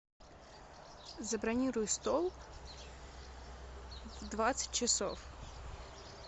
забронируй стол в двадцать часов